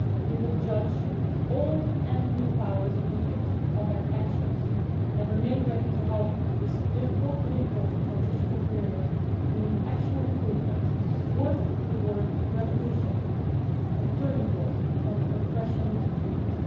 We will judge old and new powers in Egypt on their actions, and will remain ready to help ensure that this difficult but important transitional period brings an actual improvement worthy of the word revolution' a turning point from repression to freedom.